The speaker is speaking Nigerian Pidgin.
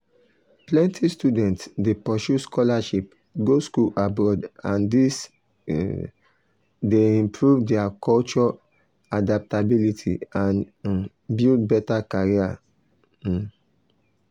plenty students dey pursue scholarship go school abroad and this dey improve their culture adaptability and um build better career. um